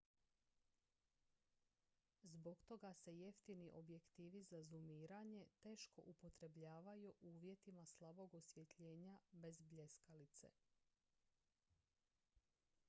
zbog toga se jeftini objektivi za zumiranje teško upotrebljavaju u uvjetima slabog osvjetljenja bez bljeskalice